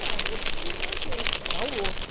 Não, eu descobri o meu jeito, era outro.